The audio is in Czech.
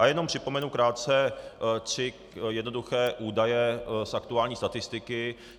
A jenom připomenu krátce tři jednoduché údaje z aktuální statistiky.